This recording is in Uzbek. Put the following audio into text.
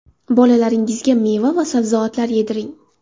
Bolalaringizga meva va sabzavotlar yediring.